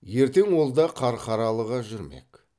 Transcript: ертең ол да қарқаралыға жүрмек